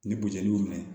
Ni butoli minɛ